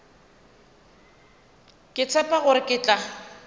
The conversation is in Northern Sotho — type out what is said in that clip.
ke tshepe gore ke tla